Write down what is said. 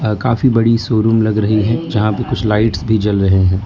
काफी बड़ी शोरूम लग रही है जहां पे कुछ लाइट्स भी जल रहे हैं।